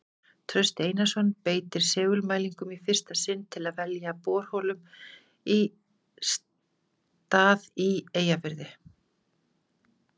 Trausti Einarsson beitir segulmælingum í fyrsta sinn til að velja borholum stað í Eyjafirði.